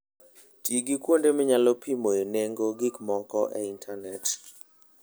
Ti gi kuonde minyalo pimoe nengo gik moko e intanet.